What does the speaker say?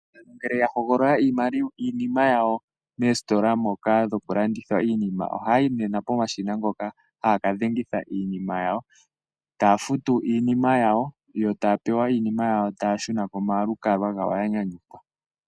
Aantu ngele ya hogolola iinima yawo moositola moka dhokulanditha iinima, ohayayi nena pomashina ngoka haya kadhengitha iinima yawo, taya futu iinima yawo, yo taya pewa iinima yawo, taya shuna komalukalwa gawo yanyanyukwa.